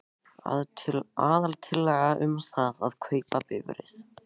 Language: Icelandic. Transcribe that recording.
Aðaltillaga er um það að kaupa bifreið.